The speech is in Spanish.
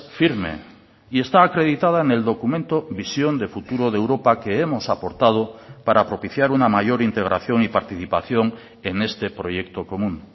firme y está acreditada en el documento visión de futuro de europa que hemos aportado para propiciar una mayor integración y participación en este proyecto común